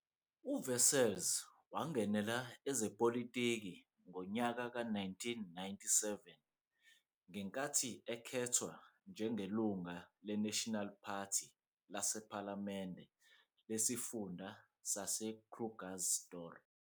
UWessels wangenela ezepolitiki ngonyaka-1997 ngenkathi ekhethwa njengelunga le-National Party lasephalamende lesifunda saseKrugersdorp.